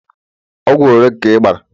Ogwu ole ka I bara